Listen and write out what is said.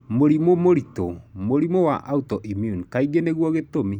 Mũrimũ mũritũ, mũrĩmũ wa autoimmune, kaingĩ nĩguo gĩtũmi.